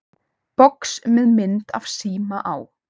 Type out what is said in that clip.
Box með mynd af síma á.